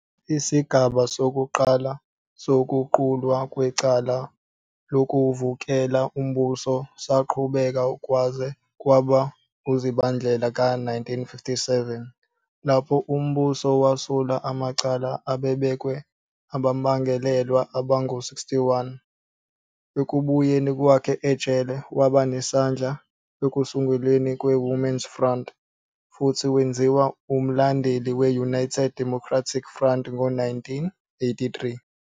Isigaba sokuqala sokuqulwa kwecala lokuvukela umbuso saqhubeka kwaze kwaba nguZibandlela ka-1957, lapho umbuso wasula amacala ababebekwe abamangalelwa abangu-61. Ekubuyeni kwakhe ejele, waba nesandla ekusungulweni kwe-Women's Front, futhi wenziwa umlandeli we-United Democratic Front ngo-1983.